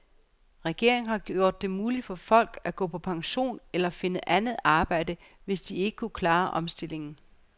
Regeringen har gjort det muligt for folk at gå på pension eller finde andet arbejde, hvis de ikke kunne klare omstillingen.